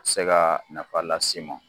Se ka nafa las'i mɔ